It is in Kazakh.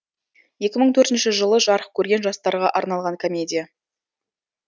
екі мың төртінші жылы жарық көрген жастарға арналған комедия